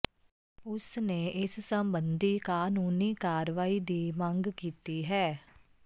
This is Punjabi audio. ਉਸ ਨੇ ਇਸ ਸਬੰਧੀ ਕਾਨੂੰਨੀ ਕਾਰਵਾਈ ਦੀ ਮੰਗ ਕੀਤੀ ਹੈ